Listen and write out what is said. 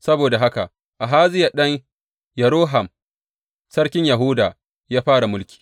Saboda haka Ahaziya ɗan Yeroham sarkin Yahuda ya fara mulki.